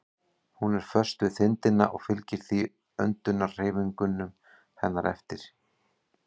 Hún er föst við þindina og fylgir því öndunarhreyfingum hennar eftir.